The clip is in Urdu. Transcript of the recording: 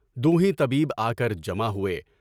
دو ہیں طبیب آ کر جمع ہوئے۔